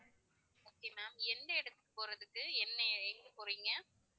okay ma'am எந்த இடத்துக்கு போறதுக்கு என்ன எங்க போறீங்க?